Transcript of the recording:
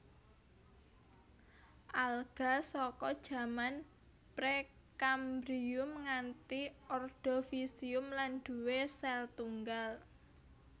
Alga saka jaman Pre kambrium nganti Ordovisium lan duwé sèl tunggal